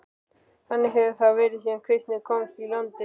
Þannig hefur það verið síðan kristni komst í landið.